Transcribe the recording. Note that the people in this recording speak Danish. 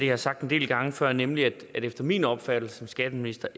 har sagt en del gange før nemlig at det efter min opfattelse som skatteminister